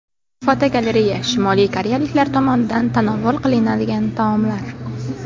Fotogalereya: Shimoliy koreyaliklar tomonidan tanovul qilinadigan taomlar.